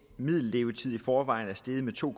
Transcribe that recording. middellevetid i forvejen er steget med to